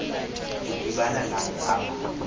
kudibana naye aba